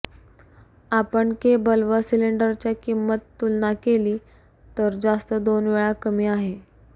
आपण केबल व सिलेंडरच्या किंमत तुलना केली तर जास्त दोन वेळा कमी आहे